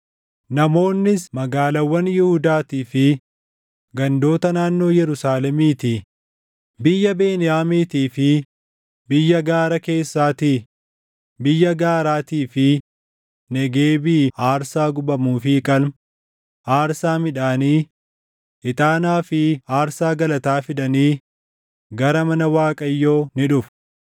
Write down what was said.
Namoonnis magaalaawwan Yihuudaatii fi gandoota naannoo Yerusaalemiitii, biyya Beniyaamiitii fi biyya gaara keessaatii, biyya gaaraatii fi Negeebii aarsaa gubamuu fi qalma, aarsaa midhaanii, ixaanaa fi aarsaa galataa fidanii gara mana Waaqayyoo ni dhufu.